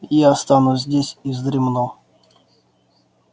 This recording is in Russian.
я останусь здесь и вздремну